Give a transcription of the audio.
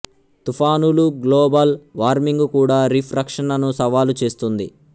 తుఫానులు global warming కూడా reef రక్షణను సవాలు చేస్తుంది